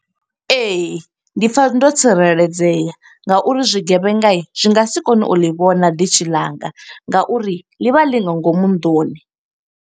Ee, ndi pfa ndo tsireledzea nga uri zwigevhenga zwi nga si kone u ḽi vhona ḓishi ḽanga, nga uri ḽi vha ḽi nga ngomu nnḓuni.